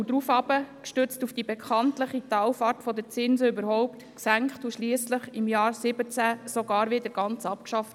Gestützt auf die bekannte Talfahrt der Zinsen wurde dieser gesenkt und schliesslich, im Jahr 2017, ganz abgeschafft.